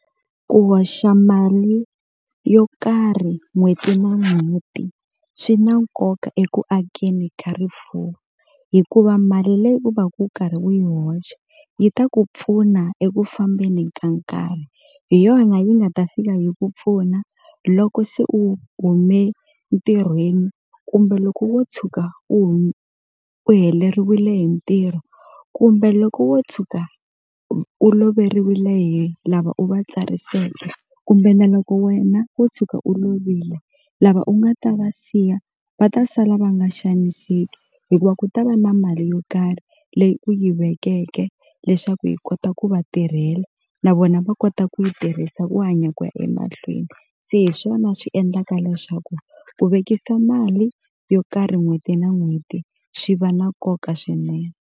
Ku hoxa mali yo karhi n'hweti na n'hweti swi na nkoka eku akeni ka rifuwo hikuva mali leyi u va ku u karhi u yi hoxa yi ta ku pfuna eku fambeni ka nkarhi hi yona yi nga ta fika yi ku pfuna loko se u hume ntirhweni kumbe loko wo tshuka u u heleriwile hi ntirho kumbe loko wo tshuka u loveriwile hi lava u va tsariseke kumbe na loko wena wo tshuka u lovile lava u nga ta va siya va ta sala va nga xaniseki hikuva ku ta va na mali yo karhi leyi u yi vekeke leswaku yi kota ku va tirhela na vona va kota ku yi tirhisa ku hanya ku ya emahlweni se hi swona swi endlaka leswaku ku vekisa mali yo karhi n'hweti na n'hweti swi va na nkoka swinene.